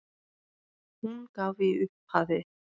Hún gaf í upphafi